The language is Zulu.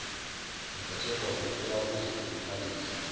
zingathengwa ngofuna ukuzikhuluphalisa